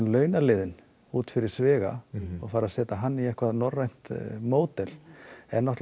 launaliðinn út fyrir sviga og fara að setja hann í eitthvað norrænt módel er